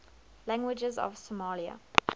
languages of somalia